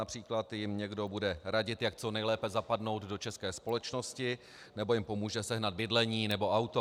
Například jim někdo bude radit, jak co nejlépe zapadnout do české společnosti, nebo jim pomůže sehnat bydlení nebo auto.